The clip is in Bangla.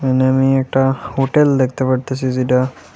নেমেই একটা হোটেল দেখতে পারতাসি যেটা--